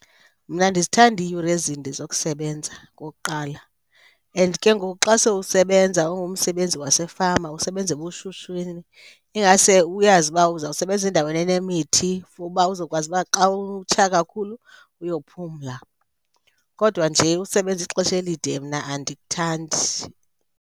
Mna andizithandi iiyure ezinde zokusebenza okokuqala. And ke ngoku xa sowusebenza ungumsebenzi wasefama usebenza ebushushwini, ingase uyazi uba uzawusebenza endaweni enemithi for uba uzokwazi uba xa utsha kakhulu uyophumla. Kodwa nje usebenza ixesha elide mna andikuthandi.